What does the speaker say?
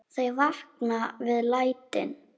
Þau vakna við lætin.